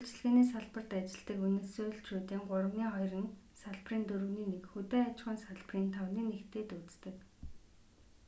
үйлчилгээний салбарт ажилладаг венесуэлчүүдийн гуравны хоёр нь салбарын дөрөвний нэг хөдөө аж ахуйн салбарын тавны нэгтэй дүйцдэг